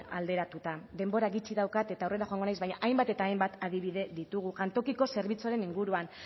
alderatuta denbora gutxi daukat eta aurrera joango naiz baina hainbat eta hainbat adibide ditugu jantokiko zerbitzuaren inguruan